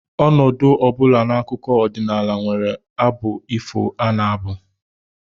Ọnọdụ ọ bụla n'akụkọ ọdịnala nwere abụ ifo a na-abụ